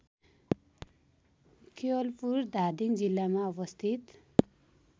केवलपुर धादिङ जिल्लामा अवस्थित